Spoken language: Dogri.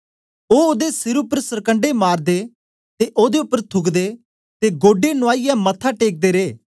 ओ ओदे सिर उपर सरकंडे मारदे ते ओदे उपर थूकदे ते गोढे नुआईयै मत्था टेकदे रे